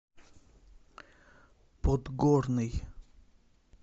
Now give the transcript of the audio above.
подгорный